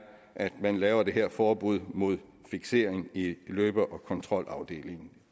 at man laver det her forbud mod fiksering i løbe og kontrolafdelingen